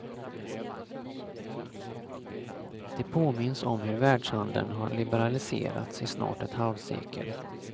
Det påminns om hur världshandeln har liberaliserats i snart ett halvsekel.